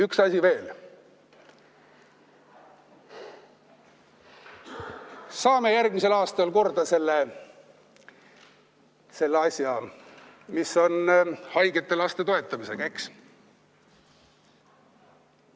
Üks asi veel: saame järgmisel aastal korda selle asja, mis on haigete laste toetamisega, eks!